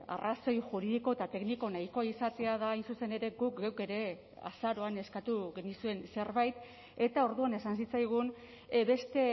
arrazoi juridiko eta tekniko nahikoa izatea da hain zuzen ere guk geuk ere azaroan eskatu genizuen zerbait eta orduan esan zitzaigun beste